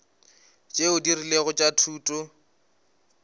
tšeo di rilego tša thuto